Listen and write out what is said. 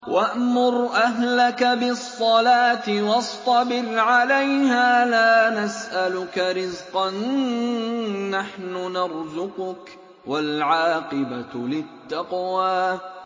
وَأْمُرْ أَهْلَكَ بِالصَّلَاةِ وَاصْطَبِرْ عَلَيْهَا ۖ لَا نَسْأَلُكَ رِزْقًا ۖ نَّحْنُ نَرْزُقُكَ ۗ وَالْعَاقِبَةُ لِلتَّقْوَىٰ